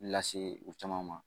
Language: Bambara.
Lase u caman ma